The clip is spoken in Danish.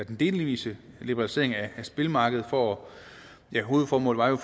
den delvise liberalisering af spilmarkedet hvor hovedformålet jo